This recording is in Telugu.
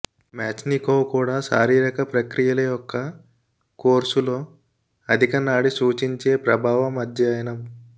మేచ్నికోవ్ కూడా శారీరిక ప్రక్రియల యొక్క కోర్సు లో అధిక నాడీ సూచించే ప్రభావం అధ్యయనం